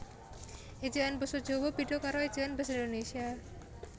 Ejaan Basa Jawa beda karo ejaan basa Indonesia